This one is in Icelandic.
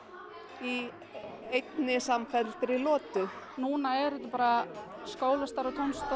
í einni samfelldri lotu núna er þetta bara skólastarf og